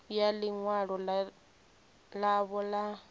ya ḽi ṅwalo ḽavho ḽa